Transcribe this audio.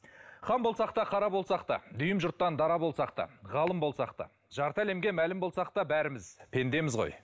хан болсақ та қара болсақ та дүйім жұрттан дара болсақ та ғалым болсақ та жарты әлемге мәлім болсақ та бәріміз пендеміз ғой